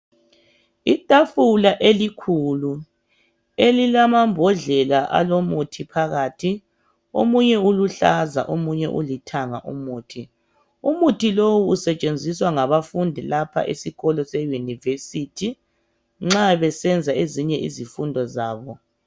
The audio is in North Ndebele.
Itafula elikhulu elilamambodlela alomuthi phakathi. Omunye uluhlaza, omunye ulithanga umuthi. Umuthi lowu usetshenziswa ngabafundi lapha esikolo seYunivesi nxa besenza ezinye izifundo zabo.